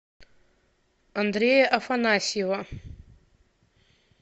андрея афанасьева